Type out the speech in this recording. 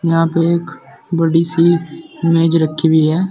यहां पर एक बड़ी सी मेज रखी हुई है।